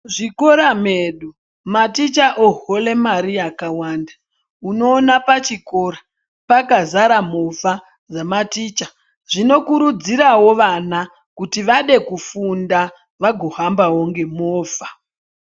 Mu zvikora mwedu maticha ohora mari yakawanda unoona pa chikora pakazara movha ye maticha zvino kurudziravo vana kuti vade kufunda vazo hambawo ne movha.